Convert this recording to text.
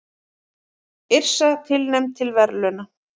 Yrsa tilnefnd til verðlauna